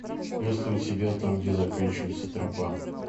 есть ли у тебя там где заканчивается тропа